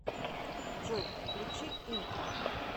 джой включи интро